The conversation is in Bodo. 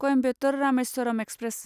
क'यम्बेटर रामेस्वरम एक्सप्रेस